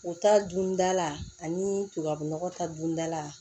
O ta dundala ani tubabu nɔgɔ ta dundala